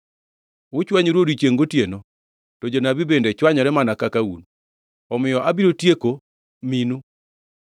Uchwanyoru odiechiengʼ gotieno to jonabi bende chwanyore mana kaka un. Omiyo abiro tieko minu.